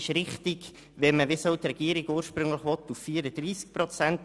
Mir scheint es richtig, auf 34 Prozent hinunterzugehen, wie die Regierung es ursprünglich wollte.